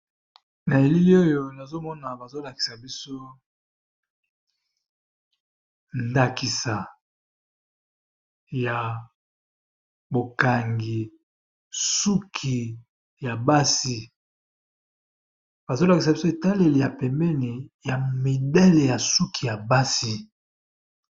Na elili oyo nazomona bazolakisa biso ndakisa ya bokangi suki ya basi, bazolakisa biso etaleli ya pembeni ya midele ya suki ya basi.